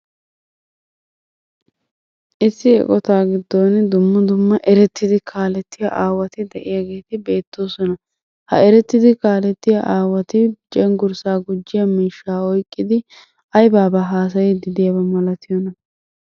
Issi eqqota giddon dumma dumma erettidi kaalaetiya aawati de'iyaageeti beetoosona. Ha erettidi kaaletiyaa aawati cenggurssa gujiya miishsha oyqqidi aybba aybba haasayidi diyaaba malatiyoona?